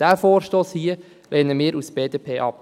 Diesen Vorstoss hier lehnen wir als BDP ab.